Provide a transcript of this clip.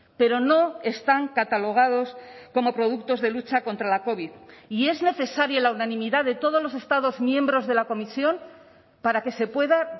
pero no están catalogados como productos de lucha contra la covid y es necesaria la unanimidad de todos los estados miembros de la comisión para que se pueda